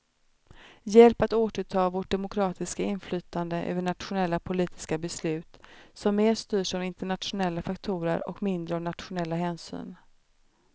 Hjälp att återta vårt demokratiska inflytande över nationella politiska beslut, som mer styrs av internationella faktorer och mindre av nationella hänsyn.